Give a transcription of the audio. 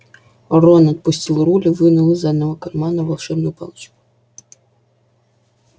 рон отпустил руль и вынул из заднего кармана волшебную палочку